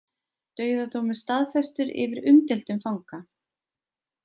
Dauðadómur staðfestur yfir umdeildum fanga